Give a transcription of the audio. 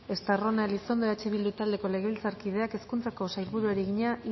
estarrona elizondo eh bildu taldeko legebiltzarkideak hezkuntzako sailburuari egina